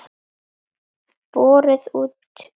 Borið út frítt.